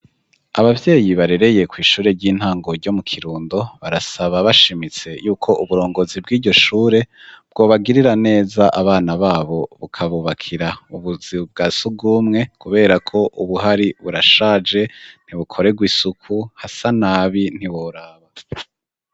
Abavyeyi barereye kwishure ry'intango ryo mu Kirundo barasaba bashimitse yuko uburongozi bwiryo shure bwobagirira neza abana babo bukabubakira ubuzu bwa sugumwe kuberako ubuhari burashaje ntibukoregwa isuku hasa nabi ntiworaba.